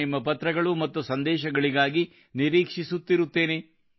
ನಾನು ನಿಮ್ಮ ಪತ್ರಗಳು ಮತ್ತು ಸಂದೇಶಗಳಿಗಾಗಿ ನಿರೀಕ್ಷಿಸುತ್ತಿರುತ್ತೇನೆ